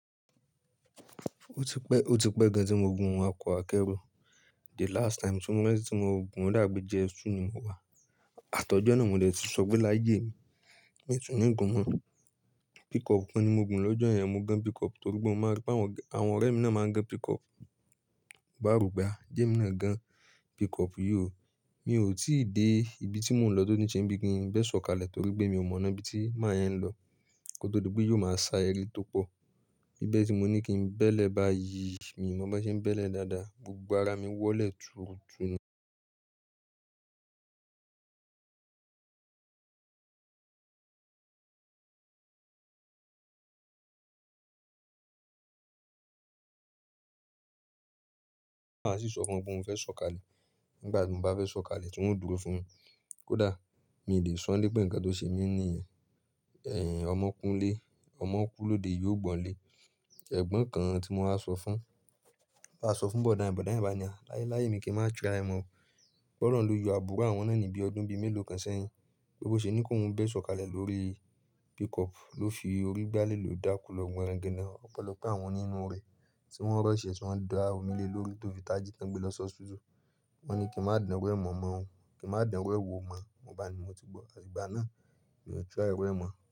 Ó ti pẹ́, ó ti pẹ́ gan tí mo gùn ọkọ akẹ́rù. The last time, ti mo ranti tí mo gùn o dabi pe J.S.2 ni mo wà. Àtọ́jọ́ náà mo lè ti sọ pé láyé mi, mi tún ní gùn mọ. Pickup kan ni mo gùn lọ́jọ́ yẹn. Mo gan pickup torí pé mo mọ̀ pé àwọn ọ̀rẹ́ mi náà máa ń gán pickup. Bàárùgbà, je emi náà gan pickup yió. Mi ò tí ì dé ibi tí mò ń lọ tó n ṣe bi kí n bẹ́ sọ̀kalẹ̀ torí pé mi ò mọ̀ ọ́n ibi tí mán yẹn ń lọ. Ko tó di pé yóò máa sá ẹre tó pọ̀. Bibe tí mo ní kí n bẹ́lẹ̀ bá yí, mi ò mọ̀ bó ṣe ń bẹ́lẹ̀ dáadáa. Gbogbo ara mi wọ́lẹ̀ túrutú ni. Màá sì sọ fún ọ pé mò ń fẹ́ sọ̀kalẹ̀. Nígbà tí mo bá fẹ́ sọ̀kalẹ̀, tan ó dúró fún mi. Kódà mi ò lè sọ́ n lé pè nǹkan tó ṣe mí níìyẹn. Ẹ̀hẹ̀, ọmọ kú nlé, ọmọ kú lóde iya ò gbọ́ n lé. Ẹ̀gbọ́n kan tí mo wa sọ fún, mo bá sọ fún Bọ̀dá yẹn, Bọ̀dá yẹn bá ní à, "Láyé mi kí n má try ẹ mo o." P'Olọ̀run ló yọ abùro àwọn náà níbí ọdún bí mélòó kan sẹ́yìn. Bo ṣe ni kóhún o bẹ́ sọ̀kalẹ̀ lórí pickup. Ló fi orí gbálẹ̀ lò dáku lọ gbonrangandàn. Ọ̀pelọpe àwọn onínú rẹ̀ tí wọ́n rush, tí wọ́n da omi lé lóru tó fi taji tán gbé lọ́ hospital. Gbogbo ara mi wọ́lẹ̀ túrutú ni. Kí n má dan ru ẹ̀ wò mọ̀. Mo bá ni mo ti gbọ́. Eyin gbà náà, mi ò try iru ẹ̀ mọ̀